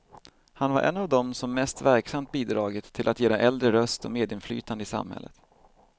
Han var en av dem som mest verksamt bidragit till att ge de äldre röst och medinflytande i samhället.